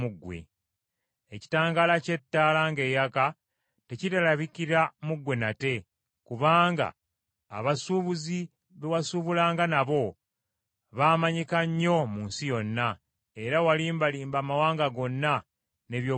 Ekitangaala ky’ettabaaza ng’eyaka tekirirabikira mu ggwe nate, kubanga abasuubuzi be wasuubulanga nabo baamanyika nnyo mu nsi yonna, era walimbalimba amawanga gonna n’eby’obulogo bwo.